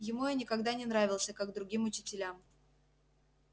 ему я никогда не нравился как другим учителям